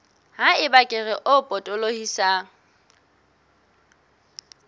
ha eba kere e potolohisang